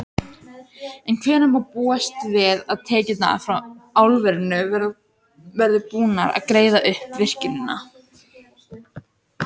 En hvenær má búast við að tekjurnar frá álverinu verði búnar að greiða upp virkjunina?